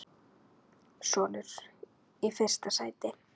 Sonur: Í fyrsta sæti.